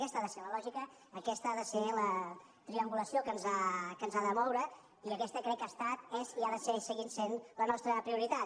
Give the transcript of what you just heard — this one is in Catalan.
aquesta ha de ser la lògica aquesta ha de ser la triangulació que ens ha de moure i aquesta crec que ha estat és i ha de ser i seguir sent la nostra prioritat